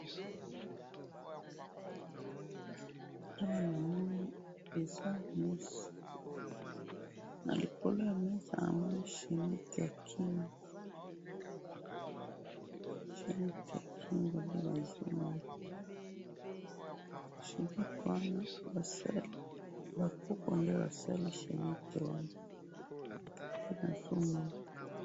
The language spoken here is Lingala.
Awa namoni eza mesa, nalikolo yamesa namoni chainette yakingo, chainette yakingo nde nazomona, chainette wana basali, bakoko nde basali chainette wana, nde nazomona